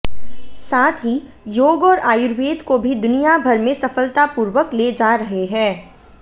साथ ही योग और आयुर्वेद को भी दुनिया भर में सफलतापूर्वक ले जा रहे हैं